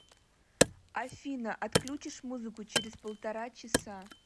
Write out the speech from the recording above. афина отключишь музыку через полтора часа